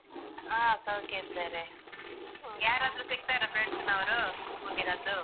ಹಾ ಸೌಖ್ಯ ಇದ್ದಾರೆ. ಯಾರಾದ್ರೂ ಸಿಗ್ತಾರಾ friends ನವರು school ನದ್ದು?